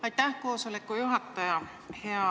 Aitäh, istungi juhataja!